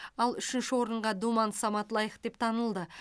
ал үшінші орынға думан самат лайық деп танылды